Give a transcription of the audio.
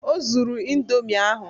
O zuru indomi ahụ